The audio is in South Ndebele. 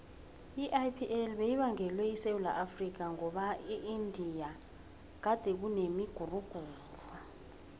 iipl beyibangwele esewula afrika ngoba eindia gadekunemiguruguru